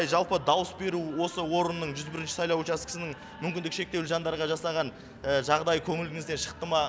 жалпы дауыс беру осы орынның жүз бірінші сайлау учаскесінің мүмкіндігі шектеулі жандарға жасаған жағдай көңіліңізден шықты ма